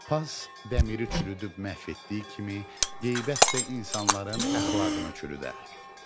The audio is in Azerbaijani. Pas dəmiri çürüdüb məhv etdiyi kimi, qeybət də insanların əxlaqını çürüdər.